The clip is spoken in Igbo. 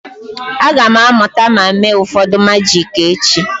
Aga m amụta ma mee ụfọdụ majiki echi.